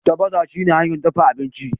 tafasa shine hanyar dafa abinci